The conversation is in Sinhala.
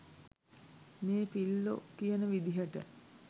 මේ පිල්ලො කියන විදිහට